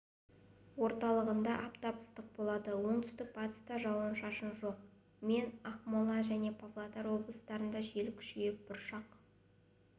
орталығында аптап ыстық болады оңтүстік-батыста жауын-шашын жоқ мен ақмола және павлодар облыстарында жел күшейіп бұршақ